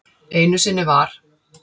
Einu sinni var.